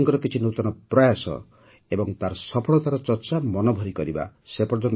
ଆମେ ଦେଶବାସୀଙ୍କର କିଛି ନୂତନ ପ୍ରୟାସ ଏବଂ ତାର ସଫଳତାର ଚର୍ଚ୍ଚା ମନଭରି କରିବା